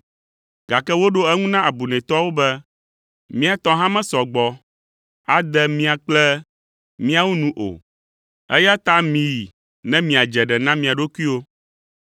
“Gake woɖo eŋu na abunɛtɔawo be, ‘Mía tɔ hã mesɔ gbɔ ade mia kple míawo nu o, eya ta miyi ne miadze ɖe na mia ɖokuiwo.’